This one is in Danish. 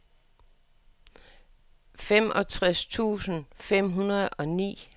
femogtres tusind fem hundrede og ni